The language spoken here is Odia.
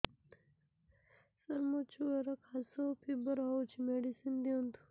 ସାର ମୋର ଛୁଆର ଖାସ ଓ ଫିବର ହଉଚି ମେଡିସିନ ଦିଅନ୍ତୁ